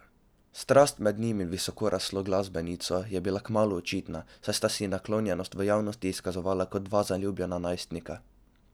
Strast med njim in visokoraslo glasbenico je bila kmalu očitna, saj sta si naklonjenost v javnosti izkazovala kot dva zaljubljena najstnika.